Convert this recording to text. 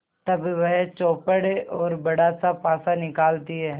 तब वह चौपड़ और बड़ासा पासा निकालती है